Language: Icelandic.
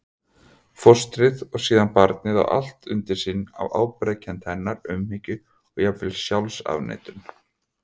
Fóstrið og síðan barnið á allt sitt undir ábyrgðarkennd hennar, umhyggju og jafnvel sjálfsafneitun.